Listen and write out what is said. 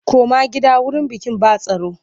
Koma gida wurin bikin ba tsaro!